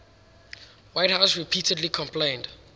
whitehouse repeatedly complained